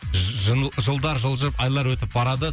жылдар жылжып айлар өтіп барады